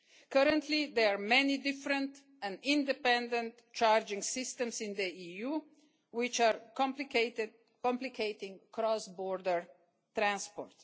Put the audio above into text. Currently there are many different and independent charging systems in the EU, which are complicating cross-border transport.